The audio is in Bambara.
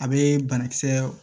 A bee banakisɛ